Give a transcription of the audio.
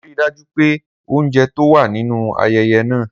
Rii daju pe ounjẹ to wa ninu ayẹyẹ naa!